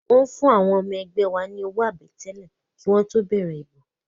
Wọ́n fún àwọn ọmọ ẹgbẹ́ wa ní owó àbẹ̀tẹ́lẹ̀ kí wọ́n tó bẹ̀rẹ̀ ìbò